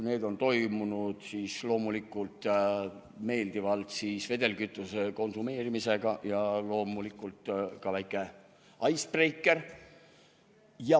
Need on toimunud loomulikult meeldivalt vedelkütuse konsumeerimisega ja loomulikult ka väike icebreaker.